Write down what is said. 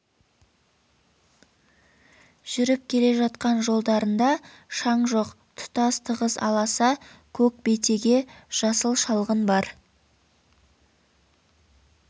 жүріп келе жатқан жолдарында шаң жоқ тұтас тығыз аласа көк бетеге жасыл шалғын бар